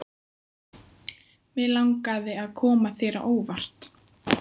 Mig langaði að koma þér á óvart.